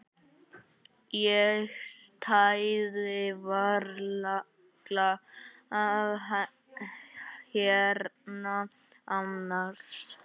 Ég stæði varla hérna annars.